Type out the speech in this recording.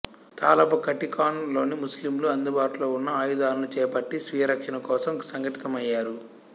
తాలాబ్ ఖటికాన్ లోని ముస్లిములు అందుబాటులో ఉన్న ఆయుధాలను చేపట్టి స్వీయరక్షణ కోసం సంఘటితమయ్యారు